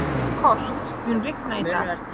Kort, mun rigna í dag?